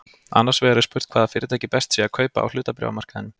Annars vegar er spurt hvaða fyrirtæki best sé að kaupa á hlutabréfamarkaðinum.